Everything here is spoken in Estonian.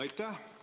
Aitäh!